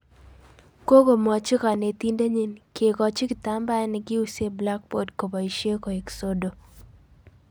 "Kongomwachi kanetindenyi, kegochi kitambaet ne kiusee blackbod koboishe koek sodo